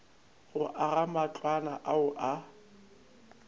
go aga matlwana ao a